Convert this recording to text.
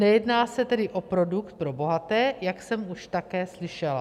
Nejedná se tedy o produkt pro bohaté, jak jsem už také slyšela.